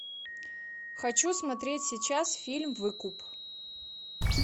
хочу смотреть сейчас фильм выкуп